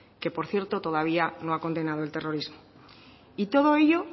que por cierto todavía no ha condenado el terrorismo y todo ello